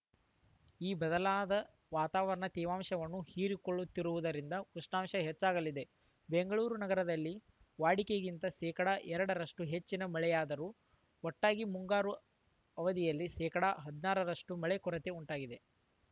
ಈ ಬದಲಾದ ವಾತಾವರಣ ತೇವಾಂಶವನ್ನು ಹೀರಿಕೊಳ್ಳುತ್ತಿರುವುದರಿಂದ ಉಷ್ಣಾಂಶ ಹೆಚ್ಚಾಲಾಗಿದೆ ಬೆಂಗಳೂರು ನಗರದಲ್ಲಿ ವಾಡಿಕೆಗಿಂತ ಶೇಕಡಾ ಎರಡರಷ್ಟುಹೆಚ್ಚಿನ ಮಳೆಯಾದರೂ ಒಟ್ಟಾರೆ ಮುಂಗಾರು ಅವಧಿಯಲ್ಲಿ ಶೇಕಡಾ ಹದಿನಾರ ರಷ್ಟುಮಳೆ ಕೊರತೆ ಉಂಟಾಗಿದೆ